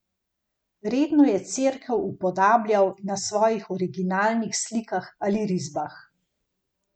In rekle so, da bo tako najbolje.